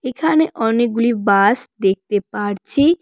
এখানে অনেকগুলি বাস দেখতে পারছি।